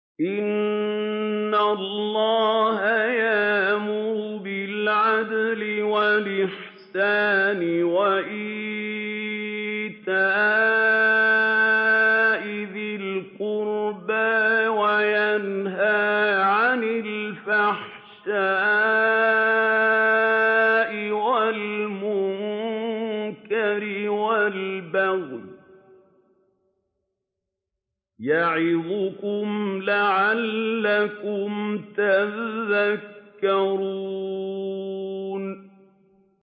۞ إِنَّ اللَّهَ يَأْمُرُ بِالْعَدْلِ وَالْإِحْسَانِ وَإِيتَاءِ ذِي الْقُرْبَىٰ وَيَنْهَىٰ عَنِ الْفَحْشَاءِ وَالْمُنكَرِ وَالْبَغْيِ ۚ يَعِظُكُمْ لَعَلَّكُمْ تَذَكَّرُونَ